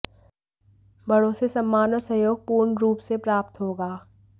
बड़ों से सम्मान और सहयोग पूर्ण रूप से प्राप्त होगा